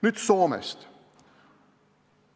Nüüd Soomest.